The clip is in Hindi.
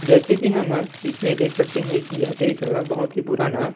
जैसे की हम इसमें देख सकते हैं की यहाँ एक बहुत ही पुराना --